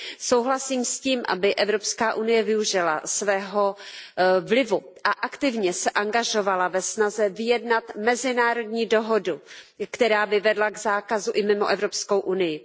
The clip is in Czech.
Souhlasím s tím, aby Evropská unie využila svého vlivu a aktivně se angažovala ve snaze vyjednat mezinárodní dohodu, která by vedla k zákazu i mimo Evropskou unii.